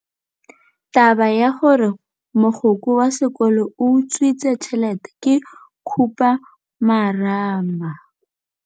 Taba ya gore mogokgo wa sekolo o utswitse tšhelete ke khupamarama.